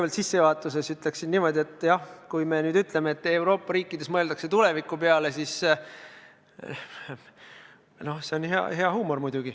Ma sissejuhatuseks ütleksin kõigepealt niimoodi, et jah, kui me ütleme, et Euroopa riikides mõeldakse tuleviku peale, siis see on muidugi hea huumor.